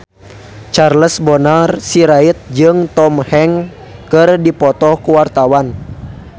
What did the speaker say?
Charles Bonar Sirait jeung Tom Hanks keur dipoto ku wartawan